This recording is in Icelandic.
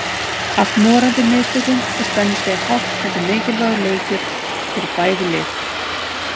Allt morandi í mistökum og spennustigið hátt enda mikilvægur leikir fyrir bæði lið.